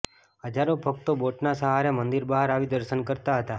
હજારો ભક્તો બોટના સહારે મંદિર બહાર આવી દર્શન કરતા હતા